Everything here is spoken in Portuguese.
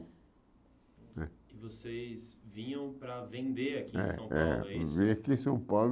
E vocês vinham para vender aqui em É é São Paulo é isso? Vinha aqui em São Paulo